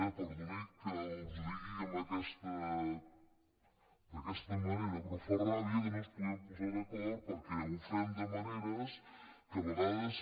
perdonin que els ho digui d’aquesta manera però fa ràbia que no ens posem d’acord perquè ho fem de maneres que a vegades